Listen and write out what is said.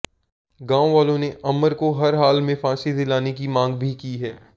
गांव वालों ने अमर को हर हाल में फांसी दिलाने की मांग भी की है